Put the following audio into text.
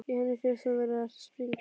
Henni finnst hún vera að springa.